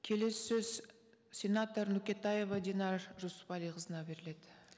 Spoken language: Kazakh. келесі сөз сенатор нөкетаева динар жүсіпәліқызына беріледі